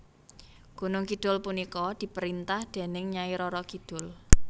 Gunung Kidul punika diperintah dening Nyai Roro Kidul